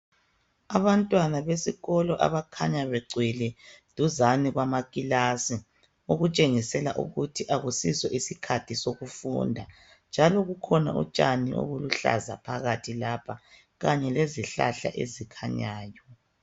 Abantwana besikolo abakhanya begcwele duzane kwamakilasi. Okutshengisela ukuthi kakusiso isikhathi sokufunda, njalo kukhona utshani obuluhlaza phakathi lapha. Kanye lezihlahla ezikhanyayo.